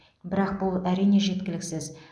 бірақ бұл әрине жеткіліксіз